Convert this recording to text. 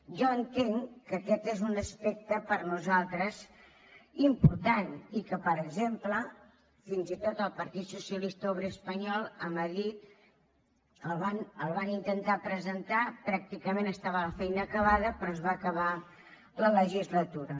jo entenc que aquest és un aspecte per a nosaltres important i que per exemple fins i tot el partit socialista obrer espanyol a madrid el van intentar presentar pràcticament estava la feina acabada però es va acabar la legislatura